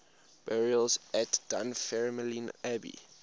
burials at dunfermline abbey